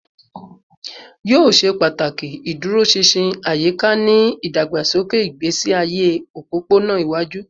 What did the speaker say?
Yoo ṣe pataki iduroṣinṣin ayika ni idagbasoke igbesi aye opopona iwaju